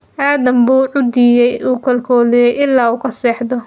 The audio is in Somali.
Aadam buu quudiyey oo koolkooliyey ilaa uu ka seexday”.